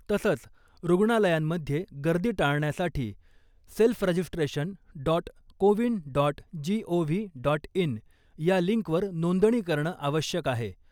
तसंच रुग्णालयांमध्ये गर्दी टाळण्यासाठी self registration dot CoWIN dot G O V dot in या लिंकवर नोंदणी करणं आवश्यक आहे .